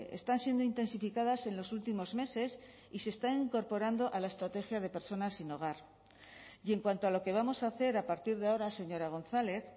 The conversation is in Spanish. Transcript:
están siendo intensificadas en los últimos meses y se están incorporando a la estrategia de personas sin hogar y en cuanto a lo que vamos a hacer a partir de ahora señora gonzález